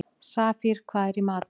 Safír, hvað er í matinn?